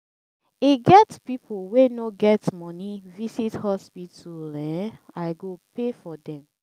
e get people wey no get money visit hospital um i go pay for dem